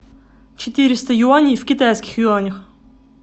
четыреста юаней в китайских юанях